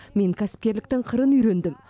мен кәсіпкерліктің қырын үйрендім